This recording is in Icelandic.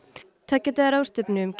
tveggja daga ráðstefnu um